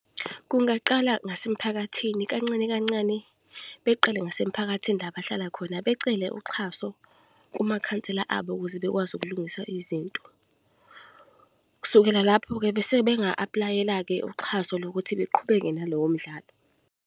Kungaqala ngasemphakathini, kancane kancane beqale ngasemphakathini la abahlala khona. Becele uxhaso kumakhansela abo, ukuze bekwazi ukulungisa izinto. Kusukela lapho-ke, bese benga-apply-ela ke uxhaso lokuthi beqhubeke nalowo mdlalo.